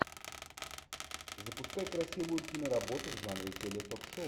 запускай красивую киноработу в жанре теле ток шоу